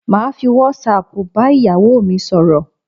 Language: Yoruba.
Màá fi whatsapp bá ìyàwó mi sọ̀rọ̀